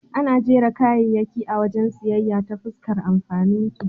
Ana jera kayayyaki a wajen siyayya ta fuskar amfaninsu.